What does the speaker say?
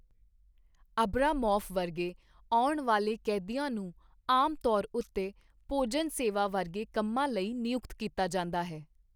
Abramoff ਵਰਗੇ ਆਉਣ ਵਾਲੇ ਕੈਦੀਆਂ ਨੂੰ ਆਮ ਤੌਰ ਉੱਤੇ ਭੋਜਨ ਸੇਵਾ ਵਰਗੇ ਕੰਮਾਂ ਲਈ ਨਿਯੁਕਤ ਕੀਤਾ ਜਾਂਦਾ ਹੈ।